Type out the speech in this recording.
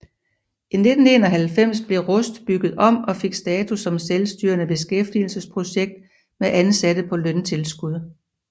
I 1991 blev Rust bygget om og fik status som selvstyrende beskæftigelsesprojekt med ansatte på løntilskud